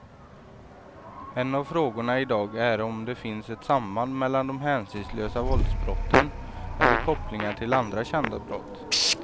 En av frågorna i dag är om det finns ett samband mellan de hänsynslösa våldsbrotten eller kopplingar till andra kända brott.